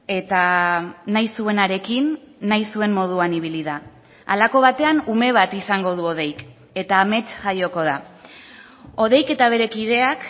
eta nahi zuenarekin nahi zuen moduan ibili da halako batean ume bat izango du hodeik eta amets jaioko da hodeik eta bere kideak